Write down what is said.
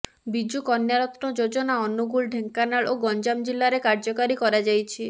ବିଜୁ କନ୍ୟାରତ୍ନ ଯୋଜନା ଅନୁଗୁଳ ଢେଙ୍କାନାଳ ଓ ଗଞ୍ଜାମ ଜିଲ୍ଲାରେ କାର୍ଯ୍ୟକାରୀ କରାଯାଇଛି